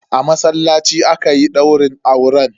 A masallaci aka yi daurin auren.